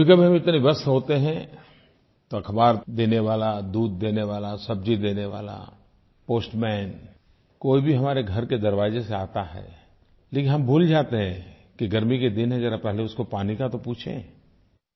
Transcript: कभीकभी हम इतने व्यस्त होते हैं तो अखबार देने वाला दूध देने सब्जी देने वाला पोस्टमैन कोई भी हमारे घर के दरवाजे से आता है लेकिन हम भूल जाते हैं कि गर्मी के दिन हैं ज़रा पहले उसको पानी का तो पूछें